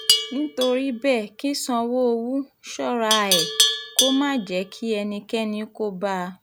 nítorí bẹ́ẹ̀ kí sanwóówù ṣọ́ra ẹ̀ kó má jẹ́ kí ẹnikẹ́ni kó bá a